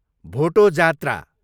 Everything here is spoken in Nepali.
भोटो जात्रा